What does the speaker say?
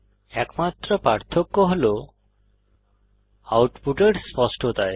একমাত্র পার্থক্য হল আউটপুটের স্পষ্টতায়